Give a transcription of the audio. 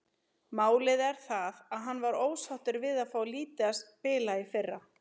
Málið er það að hann var ósáttur við að fá lítið að spila í fyrra.